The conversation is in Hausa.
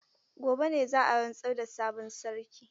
Gobe ne za a rantsar da sabon sarki.